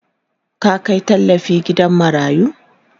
ka Kai tallafi gidan marayu?